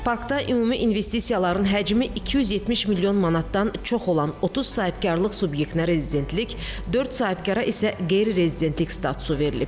Parkda ümumi investisiyaların həcmi 270 milyon manatdan çox olan 30 sahibkarlıq subyektinə rezidentlik, dörd sahibkara isə qeyri-rezidentlik statusu verilib.